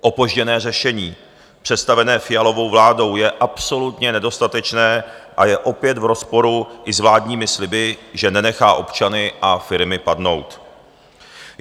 Opožděné řešení představené Fialovou vládou je absolutně nedostatečné a je opět v rozporu i s vládními sliby, že nenechá občany a firmy padnout.